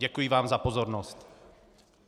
Děkuji vám za pozornost.